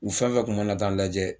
U fɛn fɛn tun mana taa n lajɛ